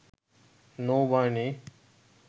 নৌবাহিনী